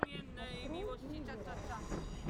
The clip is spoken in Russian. открой лизера